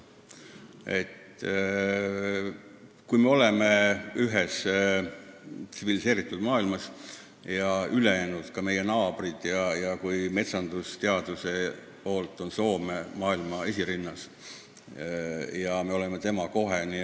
Samas, kui me kuulume tsiviliseeritud maailma ja kõik ülejäänud, ka meie naabrid, sh metsandusteaduses maailmas esirinnas olev Soome, sinna kuuluvad, siis minu arvates on loogiline, et me selle siiski lõpuks ära teeme.